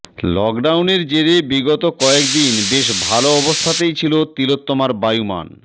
লকডাউনের জেরে বিগত কয়েকদিন বেশ ভালো অবস্থাতেই ছিল তিলোত্তমার বায়ুমান